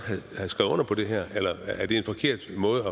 have skrevet under på det her eller er det en forkert måde